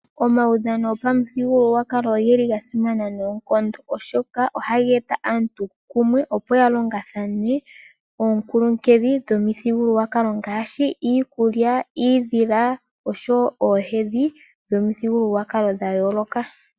Omaudhano gopamuthigululwakalo ogeli ga simana noonkondo oshoka ohaga eta aantu kumwe opo ya longathane oonkuluhedhi dhomithigululwakalo ngaashi iikulya, iidhila, osho oohedhi dhomithigululwakalo dha yolooka .